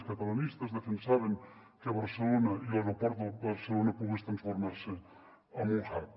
els catalanistes defensaven que barcelona i l’aeroport de barcelona pogués transformar se en un hub